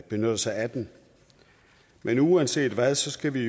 benytter sig af den men uanset hvad så skal vi